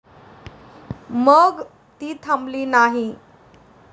मग ती थांबली नाही.